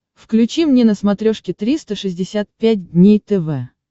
включи мне на смотрешке триста шестьдесят пять дней тв